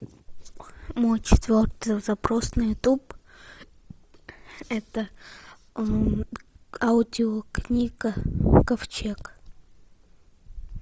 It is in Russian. мой четвертый запрос на ютуб это аудиокнига ковчег